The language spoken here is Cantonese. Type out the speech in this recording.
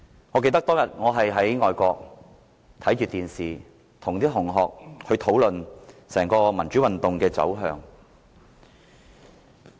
我記得當天我在外國一邊看電視，一邊與同學討論整場民主運動的走向。